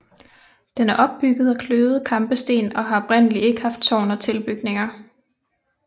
Den er bygget af kløvede kampesten og har oprindelig ikke haft tårn og tilbygninger